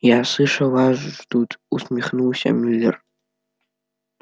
я слышал вас ждут усмехнулся мюллер